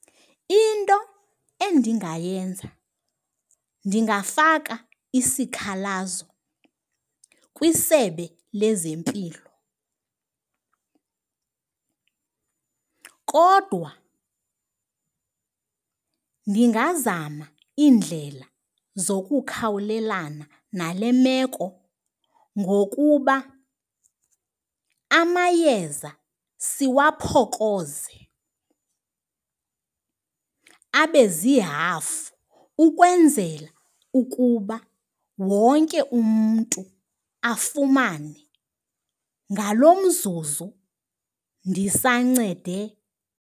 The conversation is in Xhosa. Into endingayenza ndingafaka isikhalazo kwisebe lezempilo kodwa ndingazama iindlela zokukhawulelana nale meko ngokuba amayeza siwaphokoze abezihafu ukwenzela ukuba wonke umntu afumane ngalo mzuzu ndisancede.